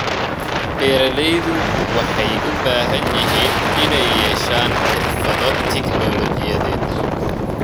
Beeralayda waxay u baahan yihiin inay yeeshaan xirfado tignoolajiyadeed.